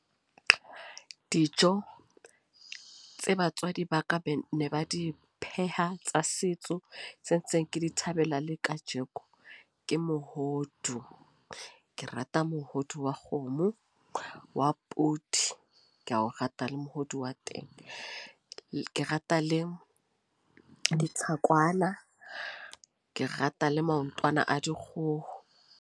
Dijo, tse batswadi ba ka ba ne ba di pheha, tsa setso. Tse ntseng ke di thabela le kajeko, ke mohodu. Ke rata mohodu wa kgomo, wa podi. Ke a o rata le mohodu wa teng. Ke rata le ditlhakwana. Ke rata le maotwana a dikgoho.